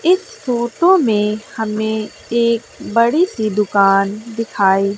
इस फोटो में हमें एक बड़ी सी दुकान दिखाई--